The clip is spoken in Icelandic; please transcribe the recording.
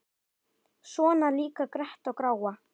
Svona líka gretta og gráa.